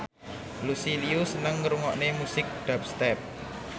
Lucy Liu seneng ngrungokne musik dubstep